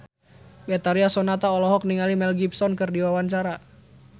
Betharia Sonata olohok ningali Mel Gibson keur diwawancara